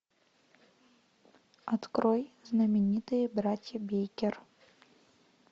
открой знаменитые братья бейкер